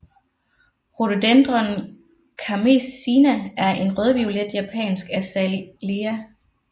Rhododendron Kermesina er en rødviolet Japansk Azalea